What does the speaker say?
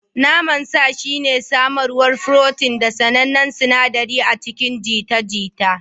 Naman sa shine samarwar furotin da sanannen sinaɗari a cikin jita-jita.